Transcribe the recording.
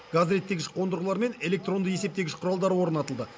газ реттегіш қондырғылар мен электронды есептегіш құралдары орнатылды